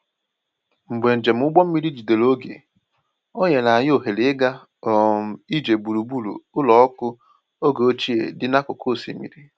Mgbe njem ụgbọ mmiri jidere oge, o nyere anyị ohere ịga um ije gburugburu ụlọ ọkụ oge ochie dị n’akụkụ osimiri.